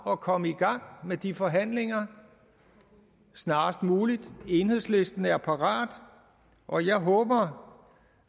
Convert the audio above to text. at komme i gang med de forhandlinger snarest muligt enhedslisten er parat og jeg håber